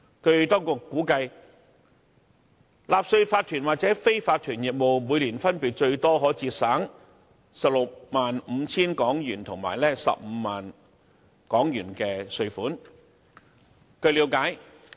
據當局估計，納稅法團或非法團業務每年分別最多可節省 165,000 元及 150,000 元的稅款。